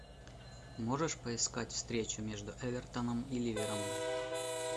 можешь поискать встречу между эвертоном и ливером